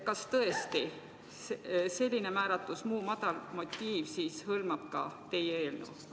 Kas tõesti hõlmab "muu madal motiiv" ka teie eelnõu?